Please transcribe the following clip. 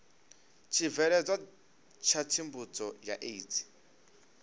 tshibveledzwa tsha tsivhudzo ya aids